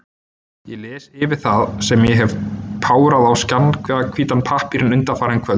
Ég les yfir það, sem ég hef párað á skjannahvítan pappírinn undanfarin kvöld.